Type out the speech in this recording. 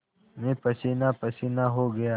मैं पसीनापसीना हो गया